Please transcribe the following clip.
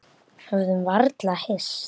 Höfðum varla hist.